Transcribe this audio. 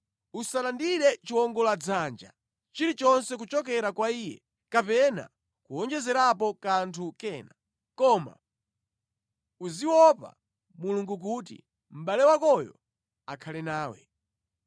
Usalandire chiwongoladzanja chilichonse kuchokera kwa iye kapena kuwonjezerapo kanthu kena, koma uziopa Mulungu kuti mʼbale wakoyo akhale nawe.